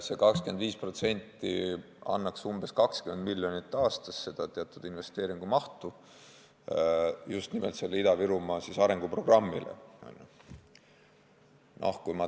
See 25% annaks umbes 20 miljonit aastas investeeringumahtu just nimelt Ida-Virumaa arenguprogrammile.